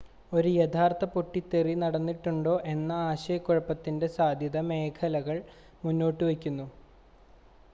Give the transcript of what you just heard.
ഒരു യഥാർത്ഥ പൊട്ടിത്തെറി നടന്നിട്ടുണ്ടോ എന്ന ആശയക്കുഴപ്പത്തിൻ്റെ സാധ്യത മേഘങ്ങൾ മുന്നോട്ടുവയ്ക്കുന്നു